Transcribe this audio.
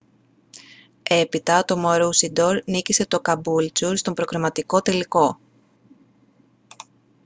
έπειτα το maroochydore νίκησε το caboolture στον προκριματικό τελικό